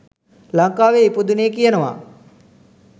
ලංකාවේ ඉපදුනේ කියනවා